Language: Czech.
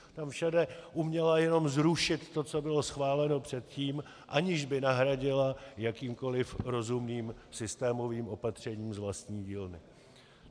Tam všude uměla jenom zrušit to, co bylo schváleno předtím, aniž by nahradila jakýmkoliv rozumným systémovým opatřením z vlastní dílny.